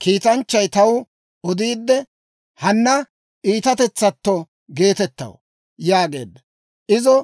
Kiitanchchay taw odiidde, «Hanna Iitatetsatto geetettaw» yaageedda. Izo